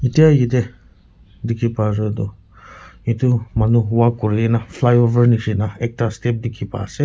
etya yatae dikhi para toh edu manu walk kurina flyover nishina ekta step dikhi paase.